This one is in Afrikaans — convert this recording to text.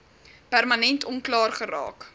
permanent onklaar geraak